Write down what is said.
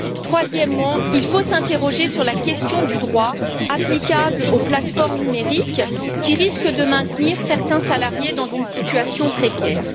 Troisièmement, il faut s'interroger sur la question du droit applicable aux plateformes numériques, qui risque de maintenir certains salariés dans une situation précaire.